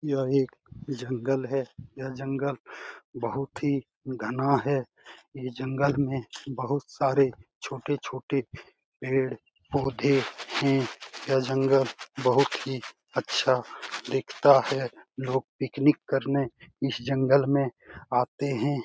यह एक जंगल है यह जंगल बहुत ही घना है ये जंगल में बहुत सारे छोटे-छोटे पेड़-पौधे हैं यह जंगल बहुत ही अच्छा दिखता है लोग पिकनिक करने इस जंगल में आते हैं।